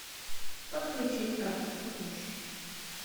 подключить автоплатеж